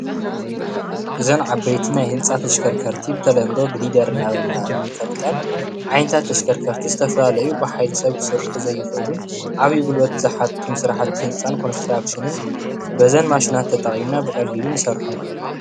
እዘን ዓበይቲ ናይ ህንፃ ተሽከርከርቲ ብተለምዶ ግሪደል እናበልና እንፈልጠን ዓይነታት ተሽከርከርቲ ዝተፈላለዩ ብሓይሊ ሰብ ክስርሑ ዘይክእሉ ዓብይ ጉልበት ዝሓቱን ስራሕቲ ህንፃን ኮንትራክሽንን በዘን ማሽናት ተጠቂምና ብቀሊሉ ንሰርሖም፡፡